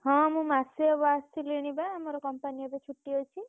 ହଁ ମୁଁ ମାସେ ହବ ଆସିଲିଣି ବା ମୋର company ଏବେ ଛୁଟି ଅଛି।